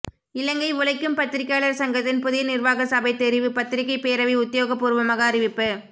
இலங்கை உழைக்கும் பத்திரிகையாளர் சங்கத்தின் புதிய நிர்வாக சபை தெரிவு பத்திரிகை பேரவை உத்தியோகபூர்வமாக அறிவிப்பு